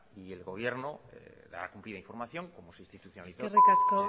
y el gobierno dará cumplida información como se institucionalizó eskerrik asko